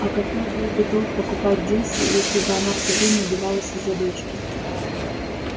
а какой был бы толк покупать дилси если бы она всё время убивалась из-за дочки